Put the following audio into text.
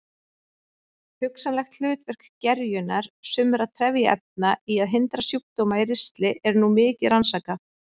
Hugsanlegt hlutverk gerjunar sumra trefjaefna í að hindra sjúkdóma í ristli er nú mikið rannsakað.